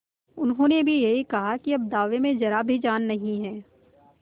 उन्होंने भी यही कहा कि अब दावे में जरा भी जान नहीं है